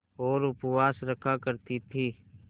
और उपवास रखा करती थीं